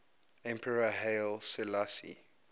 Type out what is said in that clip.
emperor haile selassie